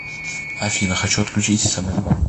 афина хочу отключить смс банк